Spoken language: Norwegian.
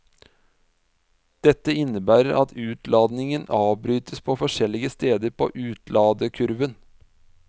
Dette innebærer at utladingen avbrytes på forskjellige steder på utladekurven.